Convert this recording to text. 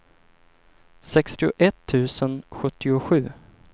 sextioett tusen sjuttiosju